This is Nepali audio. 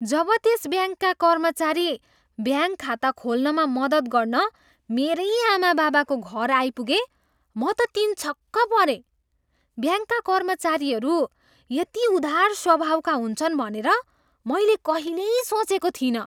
जब त्यस ब्याङ्कका कर्मचारी ब्याङ्क खाता खोल्नमा मद्दत गर्न मेरै आमाबाबाको घर आइपुगे म त तिनछक्क परेँ। ब्याङ्कका कर्मचारीहरू यति उदार स्वभावका हुन्छन् भनेर मैले कहिल्यै सोचेको थिइनँ।